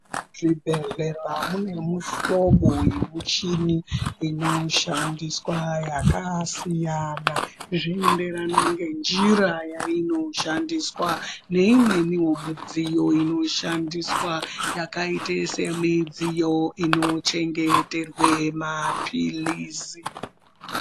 Muzvibhedhlera mune muhlobo yemichini inoshandiswa yakasiyana, zvinoenderana ngenjira yainoshandiswa neimweniwo mudziyo inoshandiswa yakaite semidziyo inochengeterwe maphilizi.